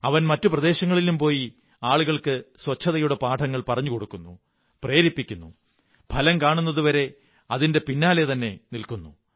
അവൻ മറ്റു പ്രദേശങ്ങളിലും പോയി ആളുകള്ക്ക്ി ശുചിത്വത്തിന്റെ പാഠങ്ങൾ പറഞ്ഞുകൊടുക്കുന്നു പ്രേരിപ്പിക്കുന്നു ഫലം കാണുന്നതുവരെ അതിന്റെ പിന്നാലെതന്നെ നില്ക്കുന്നു